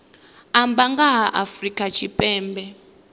amba nga ha afrika tshipembe